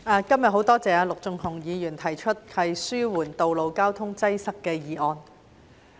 主席，很感謝陸頌雄議員今天提出這項"紓緩道路交通擠塞"的議案。